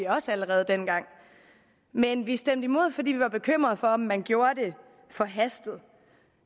også allerede dengang men vi stemte imod fordi vi var bekymrede for om man gjorde det forhastet